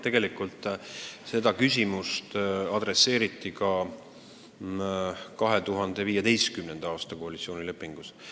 Tegelikult oli see teema ka 2015. aasta koalitsioonilepingus.